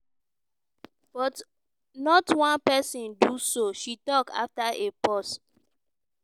"but not one person do so" she tok after a pause.